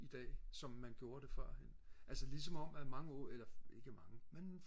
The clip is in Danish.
i dag som man gjorde det førhen altså lige som om at mange unge eller ikke mange men